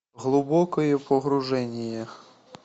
глубокое погружение